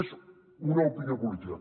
és una opinió política